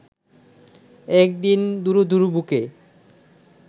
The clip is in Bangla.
একদিন দুরু দুরু বুকে